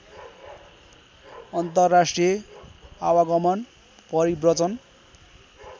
अन्तर्राष्ट्रिय आवागमन परिव्रजन